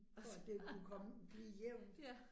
For at det kunne komme blive jævnt